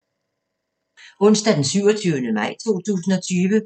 Onsdag d. 27. maj 2020